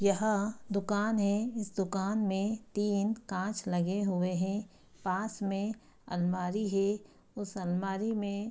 यहाँ दूकान है इस दूकान में तीन काँच लगे हुए हैं पास में अलमारी है उस अलमारी में --